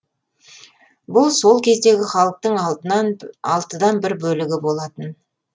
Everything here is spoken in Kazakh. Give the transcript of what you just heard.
бұл сол кездегі халықтың алтыдан бір бөлігі болатын